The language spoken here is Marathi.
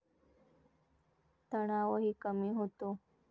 तणावही कमी होतो.